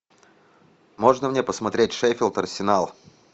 можно мне посмотреть шеффилд арсенал